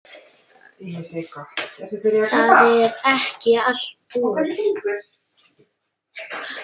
Það er ekki allt búið.